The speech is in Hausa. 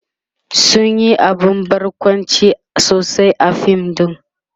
sun Yi abun barkwanci sosai a fim ɗin